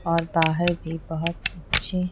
और बाहर भी बहुत अच्छी--